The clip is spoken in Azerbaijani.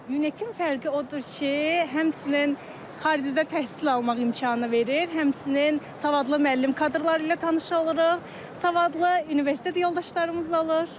Ünəkin fərqi odur ki, həmçinin xaricdə təhsil almaq imkanı verir, həmçinin savadlı müəllim kadrları ilə tanış oluruq, savadlı universitet yoldaşlarımız olur.